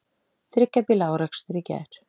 Þriggja bíla árekstur í gær